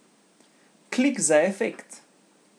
Klik za efekt.